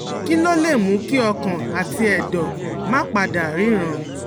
Kí ló lè mú kí ọkàn àti ẹ̀dọ̀ máa pa dà ríran?